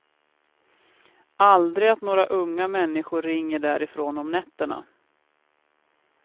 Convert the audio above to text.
Aldrig att några unga människor ringer därifrån om nätterna.